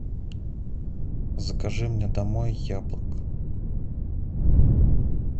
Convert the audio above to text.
закажи мне домой яблок